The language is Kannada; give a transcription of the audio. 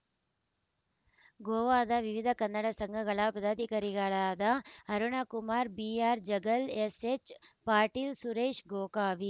ಗೋವಾದ ವಿವಿಧ ಕನ್ನಡ ಸಂಘಗಳ ಪದಾಧಿಕಾರಿಗಳಾದ ಅರುಣಕುಮಾರ ಬಿಆರ್‌ ಜಗ್ಗಲ್‌ ಎಸ್‌ಎಚ್‌ ಪಾಟೀಲ್‌ ಸುರೇಶ್‌ ಗೋಕಾವಿ